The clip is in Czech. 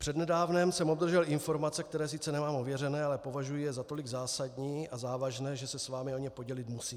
Přednedávnem jsem obdržel informace, které sice nemám ověřené, ale považuji je za tolik zásadní a závažné, že se s vámi o ně podělit musím.